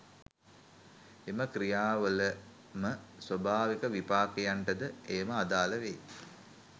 එම ක්‍රියාවල ම ස්වාභාවික විපාකයන්ට ද එයම අදාල වේ